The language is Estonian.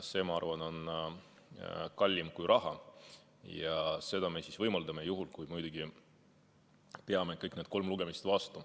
See, ma arvan, on kallim kui raha ja seda me siis võimaldame, muidugi juhul, kui me peame kõik need kolm lugemist vastu.